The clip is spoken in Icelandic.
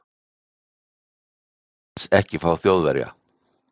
Ég vil ALLS ekki fá Þjóðverja.